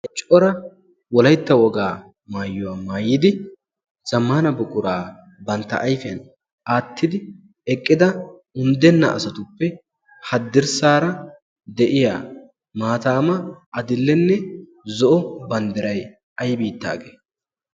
Cora wolaytta wogaa maayuwaa maayidi zammaana buquraa bantta ayfiyan aattidi eqqida unddenna asatuppe haddirssaara de'iya maataama adillenne zo'o banddiray ay biittaagee?